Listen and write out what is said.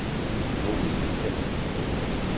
Monica Kjær